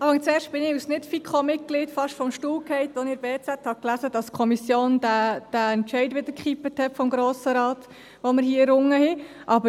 Zuerst fiel ich als Nicht-FiKo-Mitglied fast vom Stuhl, als ich in der «Berner Zeitung (BZ)» las, dass die Kommission den Entscheid des Grossen Rates, den wir hier errungen hatten, wieder gekippt hat.